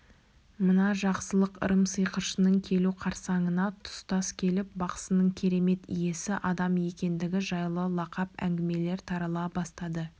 мына жақсылық ырым сиқыршының келу қарсаңына тұстас келіп бақсының керемет иесі адам екендігі жайлы лақап әңгімелер тарала бастады